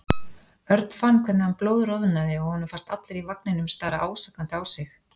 Örn fann hvernig hann blóðroðnaði og honum fannst allir í vagninum stara ásakandi á sig.